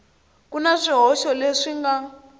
ku na swihoxo leswi nga